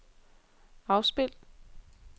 afspil